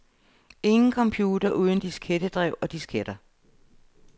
Ingen computer uden diskettedrev og disketter.